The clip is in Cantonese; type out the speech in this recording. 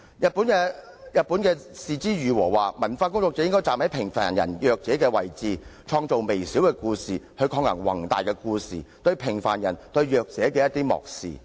日本的是枝裕和曾經指出，文化工作者應站在平凡人、弱者的位置，創作微小的故事，藉以抗衡那些宏大的故事對平凡人和弱者的漠視。